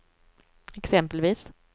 exempelvis